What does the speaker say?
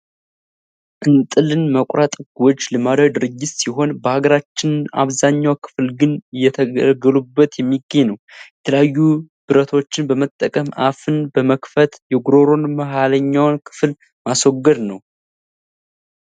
እንጥልን መቆረጥ ጎጅ ልማዳዊ ድርጊት ሲሆን በሀገራችን አብዛኛው ክፍል ግን እየተገለገሉበት የሚገኝ ነው። የተለያዩ ብረቶችን በመጠቀም አፍን በመክፈት የጉሮሮን መሀለኛዉን ክፍል ማስወገድ ነው።